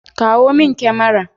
Kawo min kyamara.